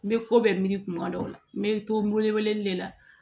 N bɛ ko bɛɛ miri tuma dɔw la n bɛ to wele weleli de la